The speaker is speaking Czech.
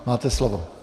Máte slovo.